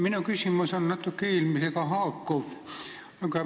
Minu küsimus haakub natuke eelmisega.